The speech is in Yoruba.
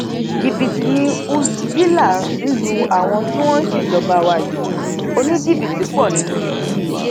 jìbìtì ni húshhvilă ń lu àwọn tí wọn sì ń ṣèjọba wa yìí oníjìbìtì pọ nínú wọn